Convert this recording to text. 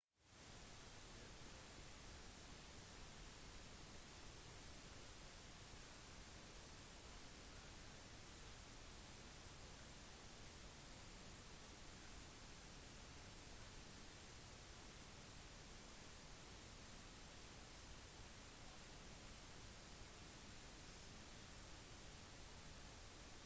dette bekrefter ikke bare at enkelte dinosaurer hadde fjær en teori som allerede er populær men viser detaljer som fossiler som regel ikke har mulighet til å vise som f.eks farger og tredimensjonal ordning